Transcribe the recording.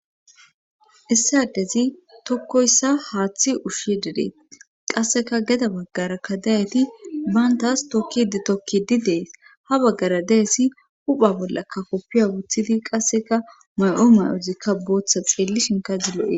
issi adezi tokkoyssa haaththi ushshi dedee qasseka geda baggara kadayeti bantaas tokkidi tokki di dees ha baggara deessi hupha bollakka koppiya wuthidi qasseka may7o mayozikka booththa xeelli shinka zillo7e